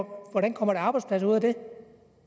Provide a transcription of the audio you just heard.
hvordan kommer der arbejdspladser ud af det